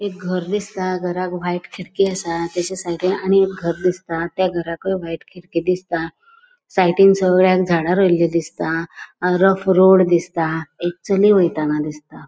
एक घर दिसता घराक व्हाइट खिडकी असा तेच्या साइडीन आणि एक घर दिसता त्या घराकय व्हाइट खिडकी दिसता साइडीन सगळ्याक झाडा रोयिल्ली दिसता रोड दिसता एक चली वैताना दिसता.